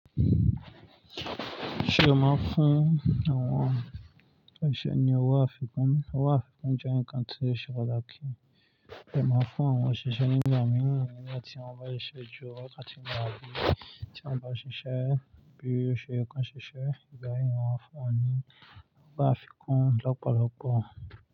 Ṣé o máa ń fún àwọn òṣìṣẹ́ ní owó àfikún? Owó àfikún jẹ́ nǹkan tí ó ṣe pàtàkì. Ẹ máa ń fún àwọn òṣìṣẹ́ nígbà míì nìyẹn eleyi ti wọ́n bá ṣiṣẹ́ ju wakati lo abí. Tí wọ́n bá ṣiṣẹ́ bí i ó ṣe ye kán ṣiṣẹ́, ìgbà mìí mo maa n fún wọn ní owó àfikún lọ́pọ̀lọpọ̀.